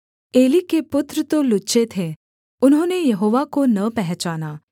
Eli के पुत्र तो लुच्चे थे उन्होंने यहोवा को न पहचाना